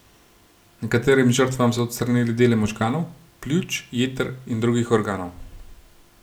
Nekaterim žrtvam so odstranili dele možganov, pljuč, jeter in drugih organov.